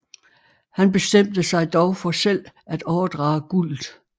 Han bestemt sig dog for selv at overdrage guldet